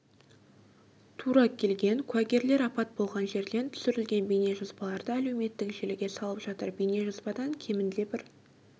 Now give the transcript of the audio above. тура келген куәгерлер апат болған жерден түсірілген бейнежазбаларды әлеуметтік желіге салып жатыр бейнежазбадан кемінде бір